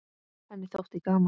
Henni þótti gaman.